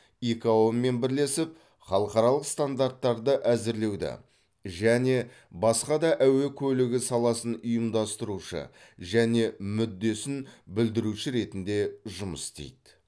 икао мен бірлесіп халықаралық стандарттарды әзірлеуді және басқа да әуе көлігі саласын ұйымдастырушы және мүддесін білдіруші ретінде жұмыс істейді